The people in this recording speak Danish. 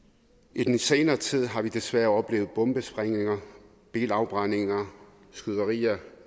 i den senere tid har vi desværre oplevet bombesprængninger bilafbrændinger og skyderier